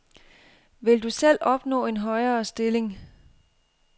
Vil du selv opnå en højere stilling.